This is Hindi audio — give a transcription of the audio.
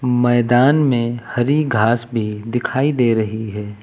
मैदान में हरी घास भी दिखाई दे रही है।